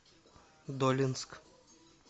долинск